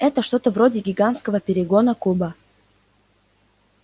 это что-то вроде гигантского перегонна куба